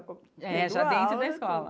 É, já dentro da escola.